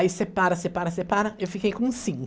Aí separa, separa, separa, eu fiquei com cinco.